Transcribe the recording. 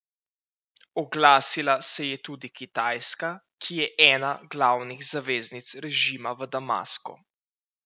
Oglasila se je tudi Kitajska, ki je ena glavnih zaveznic režima v Damasku.